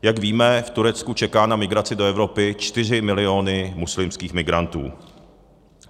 Jak víme, v Turecku čekají na migraci do Evropy čtyři milióny muslimských migrantů.